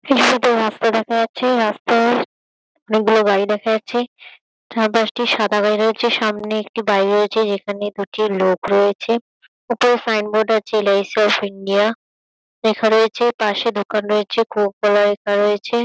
কিছুটাতো রাস্তা দেখা যাচ্ছে। রাস্তায় অনেকগুলো গাড়ি দেখা যাচ্ছে। ঠা দশটি সাদা গাড়ি রয়েছে সামনে একটি বাড়ী রয়েছে যেখানে দুটি লোক রয়েছে। উপরে সাইন বোর্ড আছে এল.আই.সি. অফ ইন্ডিয়া লেখা রয়েছে। পাশে দোকান রয়েছে। কোকো কোলা লেখা রয়েছে।